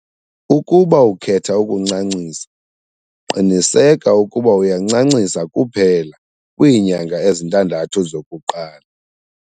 Ukuba ukhetha ukuncancisa, qiniseka ukuba uyancancisa kuphela kwiinyanga ezintandathu zokuqala.